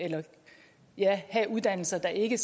have uddannelser der ikke